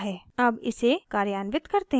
अब इसे कार्यान्वित करते हैं